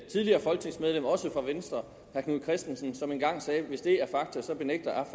tidligere folketingsmedlem også fra venstre herre knud kristensen som engang sagde hvis det er fakta så benægter